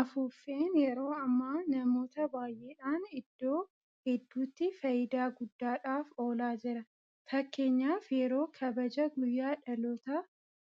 Afuuffeen yeroo ammaa namoota baay'eedhaan iddoo hedduutti faayidaa guddaadhaaf oolaa jira. Fakkeenyaaf yeroo kabaja guyyaa dhalootaa